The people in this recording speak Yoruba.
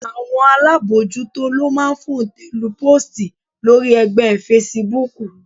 Àwọn alábojútó ló máa ń fòǹtẹ̀-lu póòstì lórí ẹgbẹ́ fesibúùkù